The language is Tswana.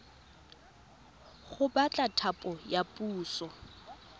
go batla thapo ya puso